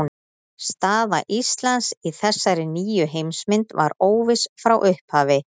Staða Íslands í þessari nýju heimsmynd var óviss frá upphafi.